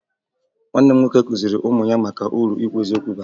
Nwanne m nwoke kụziri ụmụ ya maka uru ikwu eziokwu bara